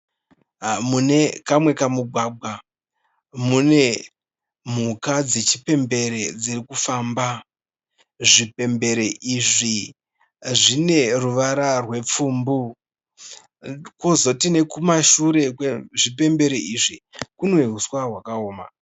Mune kamwe kamugwagwa mune mhuka dzechipembere dzirikufamba. Zvipembere izvi zvine ruvara rupfumbu. Kozoti kumashure kwezvipembere izvi kune huswa hwakaoma.